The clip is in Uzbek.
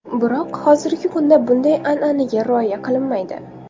Biroq hozirgi kunda bunday an’anaga rioya qilinmaydi.